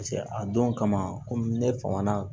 Paseke a don kama kɔmi ne fama na